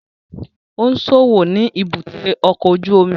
Ó ń ṣòwò ni èbúté ọkọ̀ ojú omi